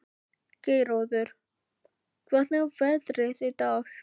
Geirröður, hvernig er veðrið í dag?